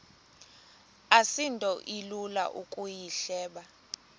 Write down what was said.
asinto ilula ukuyihleba